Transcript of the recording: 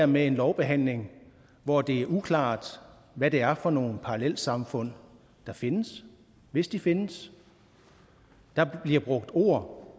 med en lovbehandling hvor det er uklart hvad det er for nogle parallelsamfund der findes hvis de findes der bliver brugt ord